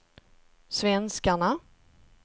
svenskarna